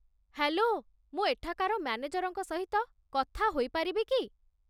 Hello, ମୁଁ ଏଠାକାର ମ୍ୟାନେଜରଙ୍କ ସହିତ କଥା ହୋଇପାରିବି କି?